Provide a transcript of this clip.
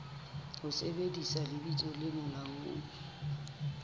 ho sebedisa lebitso le molaong